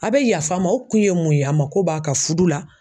A bɛ yafa ma o kun ye mun ye, a mako b'a ka fudu la.